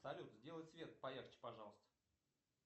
салют сделай свет поярче пожалуйста